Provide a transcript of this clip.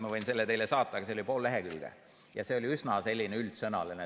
Ma võin selle teile saata, aga see oli pool lehekülge ja see oli üsna selline üldsõnaline.